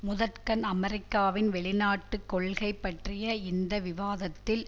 முதற்கண் அமெரிக்காவின் வெளிநாட்டு கொள்கை பற்றிய இந்த விவாதத்தில்